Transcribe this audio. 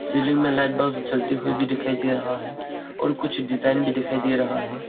Ceiling में light bulb जलती हुई दिखाई भी दे रहा है और कुछ डिजाइन भी दिखाई दे रहा है।